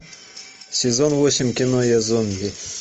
сезон восемь кино я зомби